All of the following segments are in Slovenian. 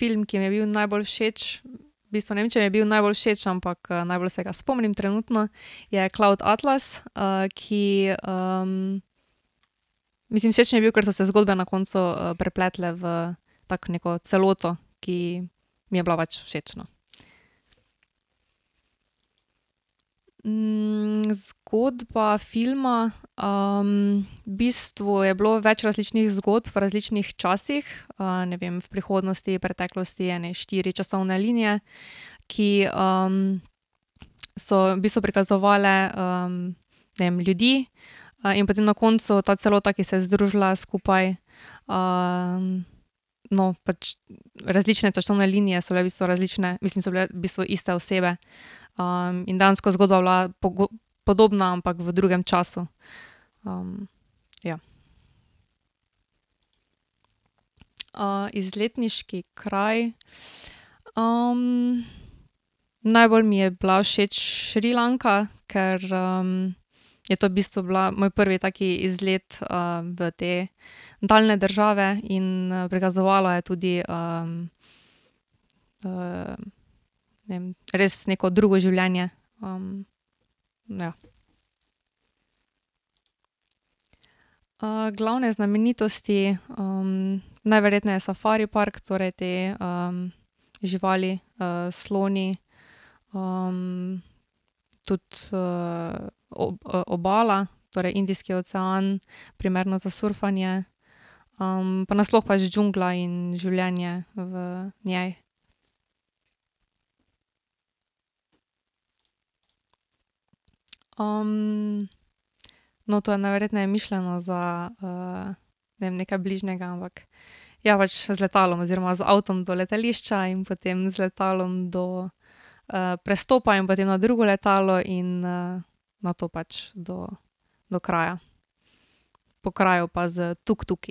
Film, ki mi je bil najbolj všeč, v bistvu ne vem, če mi je bil najbolj všeč, ampak, najbolj se ga spomnim trenutno, je Cloud Atlas, ki, mislim všeč mi je bil, kar so se zgodbe na koncu, prepletle v tako neko celoto, ki mi je bila pač všeč, no. zgodba filma, v bistvu je bilo več različnih zgodb v različnih časih. ne vem, v prihodnosti, v preteklosti ene štiri časovne linije, ki, so v bistvu prikazovale, ne vem, ljudi, in potem na koncu ta celota, ki se je združila skupaj, no, pač različne časovne linije so bile v bistvu različne, mislim so bile v bistvu iste osebe. in dejansko zgodba je bila podobna, ampak v drugem času. ja. izletniški kraj najbolj mi je bila všeč Šrilanka, ker, je to v bistvu bila moj prvi tak izlet, v te daljne države in, prikazovala je tudi, ne vem, res neko drugo življenje. ja. glavne znamenitosti, najverjetneje safari park torej te, živali, sloni, tudi obala, torej Indijski ocean, primerno za surfanje. pa na sploh pač džungla in življenje v njej. no, to je najverjetneje mišljeno za, ne vem, nekaj bližnjega, ampak ja, pač z letalom oziroma z avtom do letališča in potem z letalom do, prestopa in potem na drugo letalo in, nato pač do do kraja. Po kraju pa s tuktuki.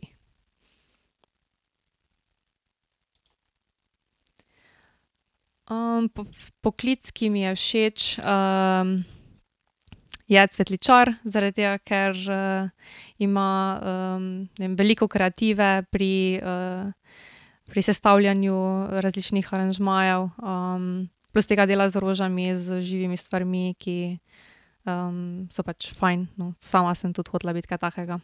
poklic, ki mi je všeč, je cvetličar zaradi tega, ker, ima ne vem, veliko kreative pri, pri sestavljanju različnih aranžmajev, plus tega dela z rožami, z živimi stvarmi, ki, so pač fajn, no, in sama sem tudi hotela biti kaj takega.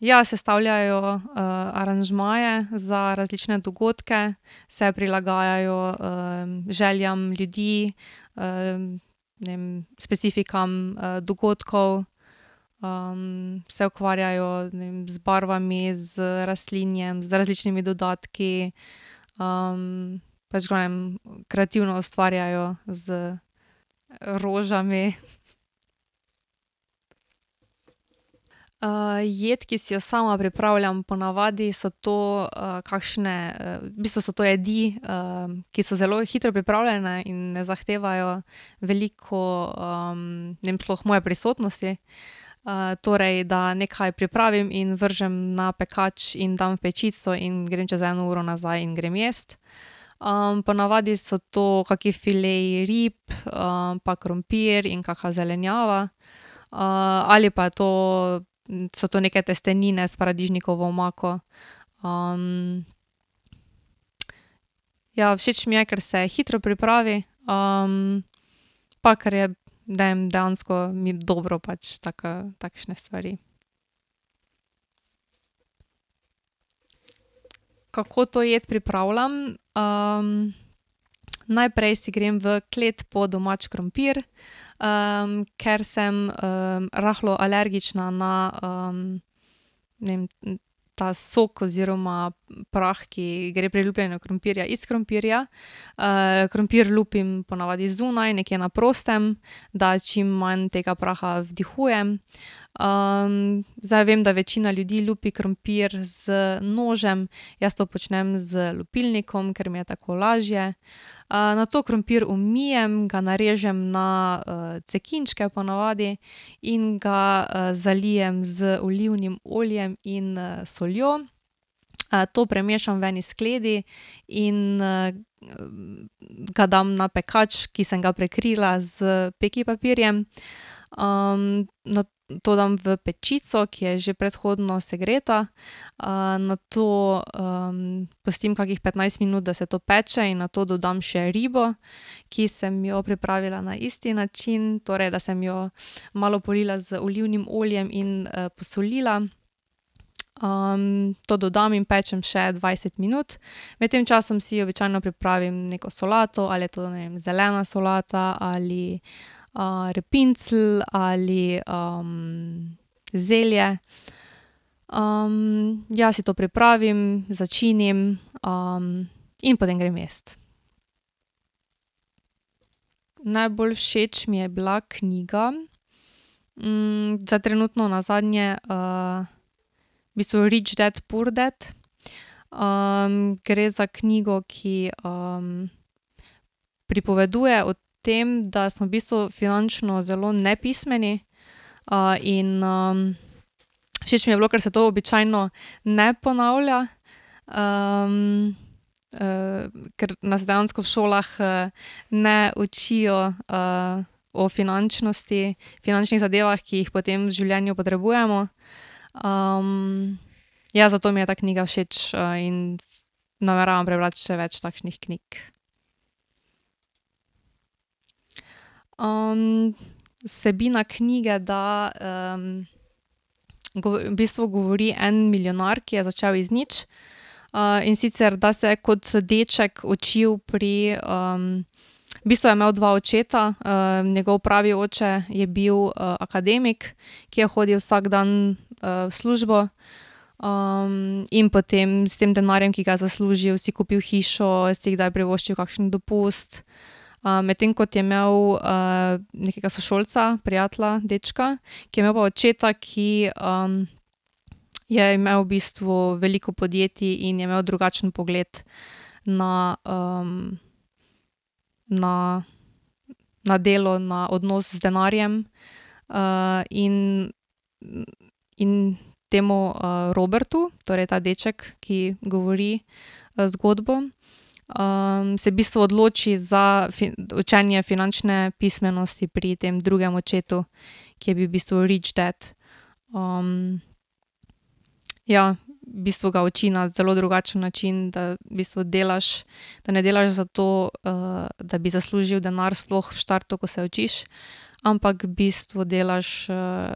ja, sestavljajo, aranžmaje za različne dogodke, se prilagajajo, željam ljudi, ne vem, specifikam, dogodkov, se ukvarjajo, ne vem, z barvami, z rastlinjem, z različnimi dodatki. pač, ne vem, kreativno ustvarjajo z rožami. jed, ki si jo sama pripravljam, ponavadi so to, kakšne, v bistvu so to jedi, ki so zelo hitro pripravljene in ne zahtevajo veliko, ne vem, sploh moje prisotnosti. torej, da nekaj pripravim in vržem na pekač in dam v pečico in grem čez eno uro nazaj in grem jest. ponavadi so to kakšni fileji rib, pa krompir in kaka zelenjava. ali pa je to so to neke testenine s paradižnikovo omako, ja, všeč mi je, ker se hitro pripravi, pa ker je, ne vem, dejansko mi dobro pač taka, takšne stvari. Kako to jed pripravljam, najprej si grem v kleti po domač krompir, ker sem, rahlo alergična, ne, ta sok oziroma prah, ki gre pri lupljenju krompirja iz krompirja. krompir lupim ponavadi zunaj, nekje na prostem, da čim manj tega praha vdihujem. zdaj vem, da večina ljudi lupi krompir z nožem, jaz to počnem z lupilnikom, ker mi je tako lažje. nato krompir umijem, ga narežem na, cekinčke ponavadi. In ga, zalijem z olivnim oljem in, soljo. to premešam v eni skledi in, ga dam na pekač, ki sem ga prekrila s pekipapirjem. nato to dam v pečico, ki je že predhodno segreta, nato, pustim kakih petnajst minut, da se to peče in nato dodam še ribo, ki sem jo pripravila na isti način, torej, da sem jo malo polila z olivnim oljem in jo posolila. to dodam in pečem še dvajset minut, med tem časom si običajno pripravim neko solato ali je to, ne vem, zelena solata ali, repincelj ali, zelje. ja, si to pripravim, začinim, in potem grem jest. Najbolj všeč mi je bila knjiga, zdaj trenutno nazadnje, v bistvu Rich Dad Poor Dad. gre za knjigo, ki, pripoveduje o tem, da smo v bistvu finančno zelo nepismeni. in, všeč mi je bilo, ker se to običajno ne ponavlja, ker nas dejansko v šolah, ne učijo, o finančnosti, finančnih zadevah, ki jih potem v življenju potrebujemo. ja, zato mi je za knjiga všeč in, nameravam prebrati še več takšnih knjig. vsebina knjige, da, v bistvu govori en milijonar, ki je začel iz nič. in sicer ta se je kot deček učil pri, v bistvu je imel dva očeta, njegov pravi oče je bil akademik, ki je hodil vsak dan, v službo. in potem s tem denarjem, ki ga je zaslužil, si kupil hišo si kdaj privoščil kakšen dopust, medtem kot je imel, nekega sošolca, prijatelja, dečka, ki je imel pa očeta, ki, je imel v bistvu veliko podjetij in je imel drugačen pogled na, na, na delo, na odnos z denarjem. in, in temu, Robertu, torej ta deček, ki govori, zgodbo, se v bistvu odloči za učenje finančne pismenosti pri tem drugem očetu, ki je bil v bistvu rich dad. ja, v bistvu ga uči na zelo drugačen način, da v bistvu delaš pa ne delaš zato, da bi zaslužil denar, sploh v štartu, ko se učiš, ampak v bistvu delaš,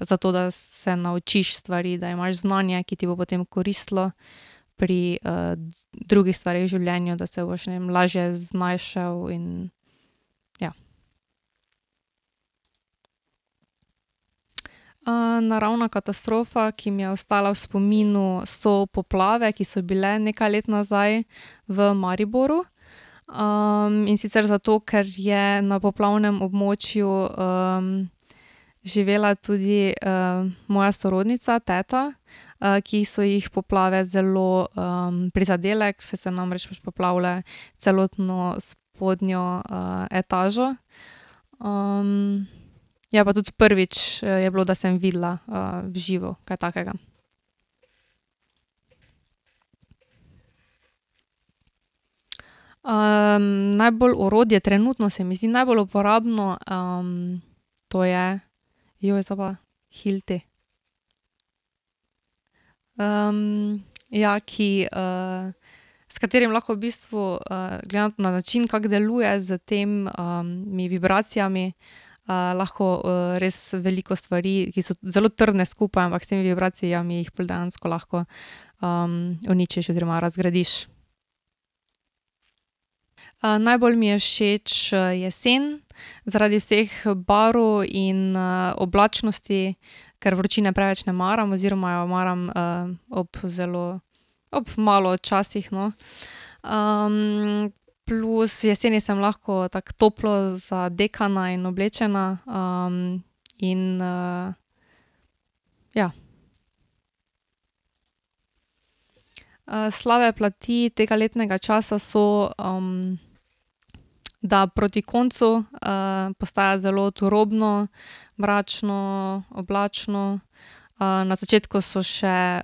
zato, da se naučiš stvari, da imaš znanje, ki ti bo potem koristilo pri, drugih stvareh v življenju, da se boš, ne vem, lažje znašel in ja. naravna katastrofa, ki mi je ostala v spominu, so poplave, ki so bile nekaj let nazaj v Mariboru, in sicer zato ker je na poplavnem območju, živela tudi, moja sorodnica, teta, ki so jih poplave zelo, prizadele, saj so namreč poplavile celotno spodnjo, etažo, ja, pa tudi prvič je bilo, da sem videla, v živo kaj takega. najbolj orodje trenutno se mi zdi najbolj uporabno, to je, to pa hilti. ja, ki, s katerim lahko v bistvu, glede na način, kako deluje s tem, vibracijami. lahko, res veliko stvari, ki so zelo trdne skupaj, ampak s temi vibracijami jih dejansko lahko, uničiš oziroma razgradiš. najbolj mi je všeč, jesen, zaradi vseh barv in, oblačnosti, ker vročine preveč ne maram oziroma jo maram, ob zelo, ob malo včasih, no, plus jeseni sem lahko tako toplo zadekana in oblečena, in, ja. slabe plati tega letnega časa so, da proti koncu, postaja zelo turobno, mračno, oblačno, na začetku so še,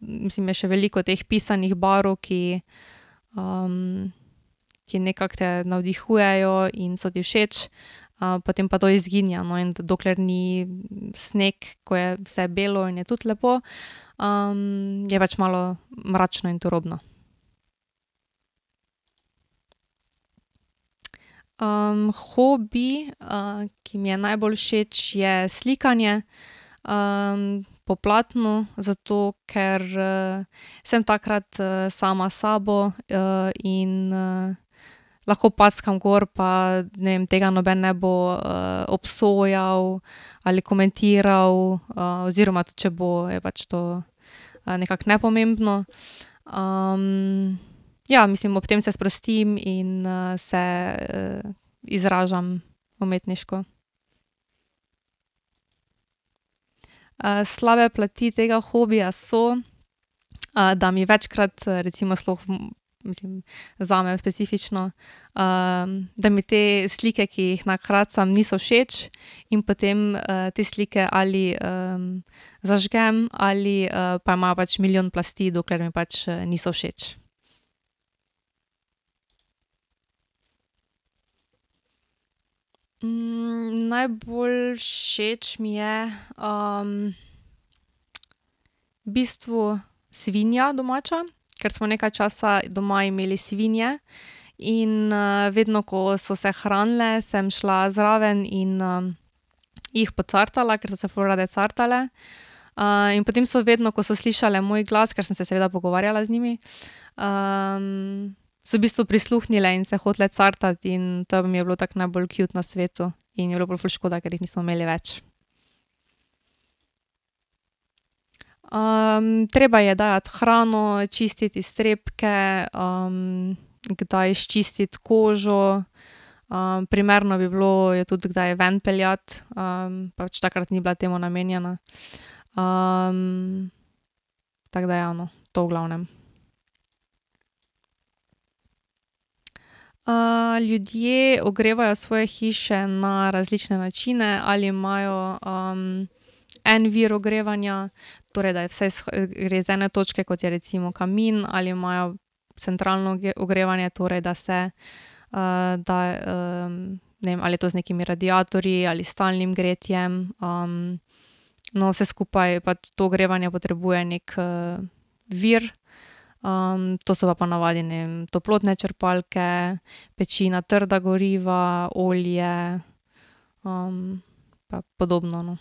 mislim, je še veliko teh pisanih barv, ki, ki nekako te navdihujejo in so ti všeč, potem pa to izginja, no, in dokler ni sneg, ko je vse bilo in je tudi lepo, je pač malo mračno in turobno. hobi, ki mi je najbolj všeč, je slikanje, po platnu, ker, sem takrat, sama s sabo in, lahko packam gor pa, ne vem, tega noben ne bo, obsojal ali komentiral, oziroma tudi, če bo, je pač to nekako nepomembno, ja, mislim ob tem se sprostim in, se izražam umetniško. slabe plati tega hobija so, da mi večkrat, recimo sploh, mislim, zame specifično, da mi te slike, ki jih nakracam, niso všeč, in potem, te slike ali, zažgem ali, pa imajo pač milijon plasti, dokler mi pač, niso všeč. najbolj všeč mi je, v bistvu svinja domača, ker smo nekaj časa doma imeli svinje, in, vedno, ko so se hranile, sem šla zraven in, jih pocartala, ker so se ful rade cartale. in potem so vedno, ko so slišale moj glas, ker sem se seveda pogovarjala z njimi, so v bistvu prisluhnile in so se hotele cartati in to mi je bilo tako najbolj kjut na svetu. In je pol ful škoda, ker jih nismo imeli več. treba je dajati hrano, čistiti iztrebke, kdaj izčistiti kožo, primerno bi bilo jo tudi kdaj ven peljati, pač takrat ni bila temu namenjena. tako da, ja, no, to v glavnem. ljudje ogrevajo svoje hiše na različne načine, ali imajo, en vir ogrevanja, torej da je vse gre iz ene točke, kot je recimo kamin, ali imajo centralno ogrevanje, torej, da se, da, ne vem, ali je to z nekimi radiatorji ali s stalnim gretjem, na vse skupaj, pa to ogrevanje potrebuje neki, vir, to so pa ponavadi, ne vem, toplotne črpalke, peči na trda goriva, olje, pa podobno, no. ...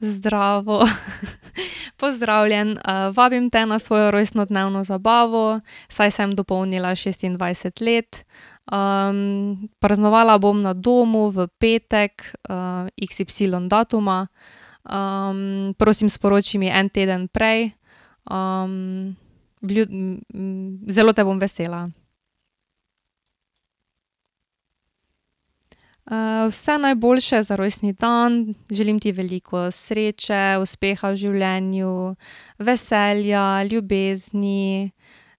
Zdravo, pozdravljen, vabim te na svojo rojstnodnevno zabavo, saj sem dopolnila šestindvajset let, praznovala bom na domu v petek, iksipsilon datuma, prosim, sporoči mi en teden prej, zelo te bom vesela. vse najboljše za rojstni dan, želim ti veliko sreče, uspeha v življenju, veselja, ljubezni,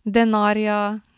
denarja.